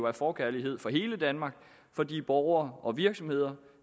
af forkærlighed for hele danmark fordi borgere og virksomheder